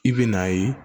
I bɛ n'a ye